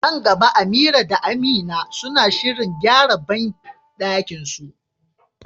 Nan gaba Amira da Amina suna shirin gyara bandakinsu.